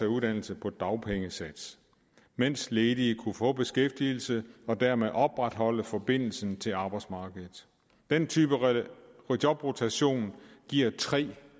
uddannelse på dagpengesats mens ledige kunne få beskæftigelse og dermed opretholde forbindelsen til arbejdsmarkedet den type jobrotation giver tre